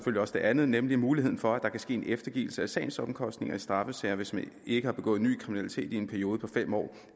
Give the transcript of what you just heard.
også det andet nemlig muligheden for at der kan ske en eftergivelse af sagens omkostninger i straffesager hvis man ikke har begået ny kriminalitet i en periode på fem år